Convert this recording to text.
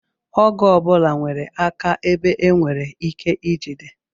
Ọgụ ọbụla nwere aka ebe e nwere ike ijide